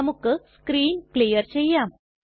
നമുക്ക് screen clear ചെയ്യാം